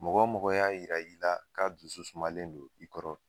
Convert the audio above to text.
Mɔgɔ mɔgɔ y'a yira i la k'a dusu sumalen don i kɔrɔ